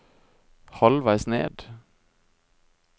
halvveis ned